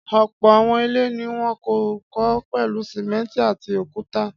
Ọ̀pọ̀ àwọn ilé ni wọ́n kọ́ pẹ̀lú sìmẹ́ńtì àti òkúta.